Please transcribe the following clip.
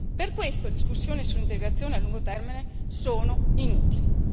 Per questo le discussioni su integrazione a lungo termine sono inutili.